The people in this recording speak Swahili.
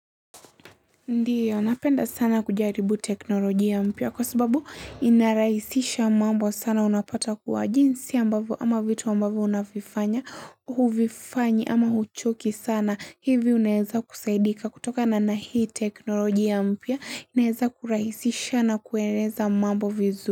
Ndio, napenda sana kujaribu teknoloji mpya kwa sababu inarahisisha mambo sana unapata kuwa jinsi ambavyo ama vitu ambavyo unavifanya, huvifanyi ama huchoki sana. Hivi unaweza kusaidika kutokana na hii teknolojia mpya, inaweza kurahisisha na kueleza mambo vizu.